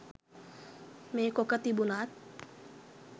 මේකොක තිබුනත්